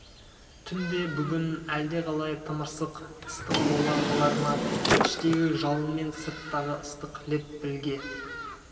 түн де бүгін әлдеқалай тымырсық ыстық бола қалар ма іштегі жалын мен сырттағы ыстық леп бірге